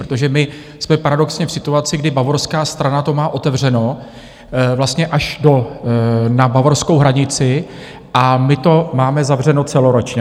Protože my jsme paradoxně v situaci, kdy bavorská strana to má otevřeno vlastně až na bavorskou hranici a my to máme zavřeno celoročně.